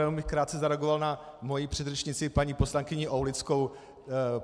Jenom bych krátce zareagoval na moji předřečnici paní poslankyni Aulickou.